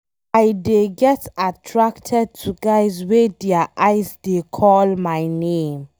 I dey get attracted to guys wey their eye dey call my name.